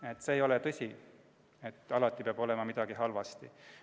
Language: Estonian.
Aga see ei ole tõsi, et alati peab olema midagi halvasti.